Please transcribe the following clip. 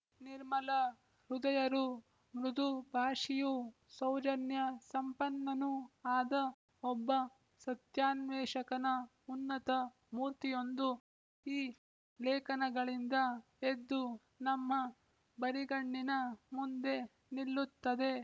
ನಿರ್ಮಲ ಹೃದಯರೂ ಮೃದು ಭಾಷಿಯೂ ಸೌಜನ್ಯ ಸಂಪನ್ನನೂ ಆದ ಒಬ್ಬ ಸತ್ಯಾನ್ವೇಷಕನ ಉನ್ನತ ಮೂರ್ತಿಯೊಂದು ಈ ಲೇಖನಗಳಿಂದ ಎದ್ದು ನಮ್ಮ ಬರಿಗಣ್ಣಿನ ಮುಂದೆ ನಿಲ್ಲುತ್ತದೆ